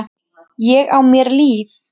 Ég á mér líf.